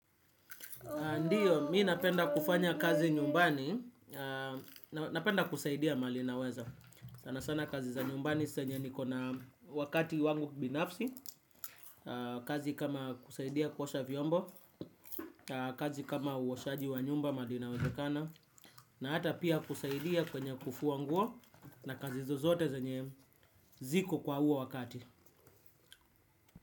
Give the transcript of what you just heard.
Ndio mimi napenda kufanya kazi nyumbani napenda kusaidia mahali naweza sana sana kazi za nyumbani zenye ni kona wakati wangu binafsi kazi kama kusaidia kuosha vyombo kazi kama uoshaji wa nyumba mahali inawezakana na hata pia kusaidia kwenye kufuwa nguo na kazi zozote ziko kwa huo wakati.